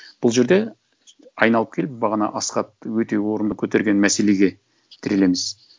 бұл жерде айналып келіп бағана асхат өте орынды көтерген мәселеге тірелеміз